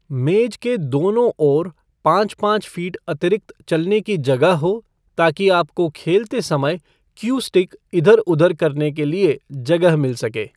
मेज के दोनों ओर पाँच पाँच फीट अतिरिक्त चलने की जगह हो ताकि आपको खेलते समय क्यू स्टिक इधर उधर करने के लिए जगह मिल सके।